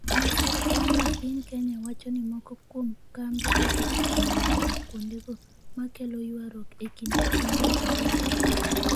masira en ni piny Kenya wacho ni moko kuom kambe osechako manyo mo kuondego ma kelo ywaruok e kind pinje ariyogo